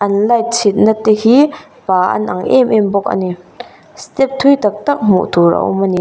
light chhitna te hi pâ an ang em em bawk a ni step thui tak tak hmuh tur an awm ani.